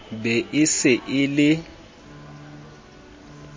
be e se e le